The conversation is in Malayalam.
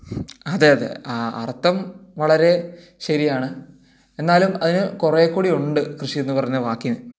അതെ അതെ അർത്ഥം വളരെ ശരിയാണ് എന്നാലും കുറെ കൂടിയുണ്ട് കൃഷി എന്ന് പറഞ്ഞ വാക്കിന്